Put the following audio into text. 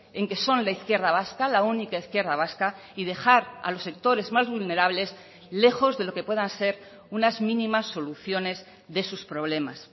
en que son la izquierda vasca la única izquierda vasca y dejar a los sectores más vulnerables lejos de lo que puedan ser unas mínimas soluciones de sus problemas